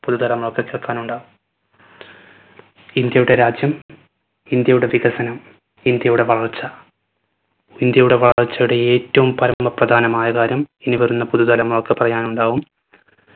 പുതു തലമുറക്ക് കേൾക്കാനുണ്ടാവും ഇന്ത്യയുടെ രാജ്യം ഇന്ത്യയുടെ വികസനം ഇന്ത്യയുടെ വളർച്ച. ഇന്ത്യയുടെ വളർച്ചയുടെ ഏറ്റവും പരമ പ്രധാനമായ കാര്യം ഇനി വരുന്ന പുതു തലമുറക്ക് പറയാനുണ്ടാവും പുതു തലമുറക്ക് കേൾക്കാനുണ്ടാവും